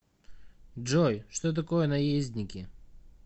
джой что такое наездники